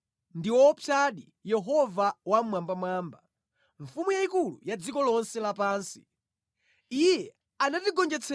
Ndi woopsadi Yehova Wammwambamwamba; Mfumu yayikulu ya dziko lonse lapansi!